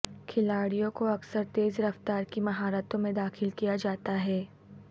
کھلاڑیوں کو اکثر تیز رفتار کی مہارتوں میں داخل کیا جاتا ہے